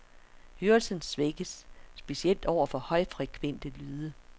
Hørelsen svækkes, specielt over for højfrekvente lyde.